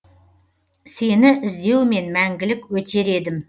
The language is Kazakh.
сені іздеумен мәңгілік өтер едім